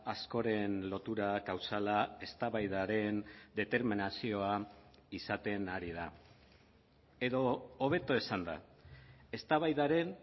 askoren lotura kausala eztabaidaren determinazioa izaten ari da edo hobeto esanda eztabaidaren